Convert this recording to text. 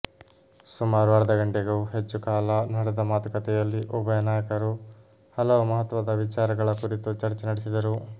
ಸುಮಾರು ಅರ್ಧ ಗಂಟೆಗೂ ಹೆಚ್ಚು ಕಾಲ ನಡೆದ ಮಾತುಕತೆಯಲ್ಲಿ ಉಭಯ ನಾಯಕರು ಹಲವು ಮಹತ್ವದ ವಿಚಾರಗಳ ಕುರಿತು ಚರ್ಚೆ ನಡೆಸಿದರು